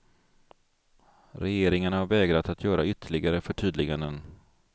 Regeringarna har vägrat att göra ytterligare förtydliganden.